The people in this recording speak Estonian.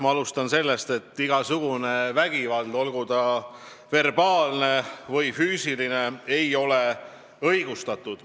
Ma alustan sellest, et mitte mingisugune vägivald, olgu verbaalne või füüsiline, ei ole õigustatud.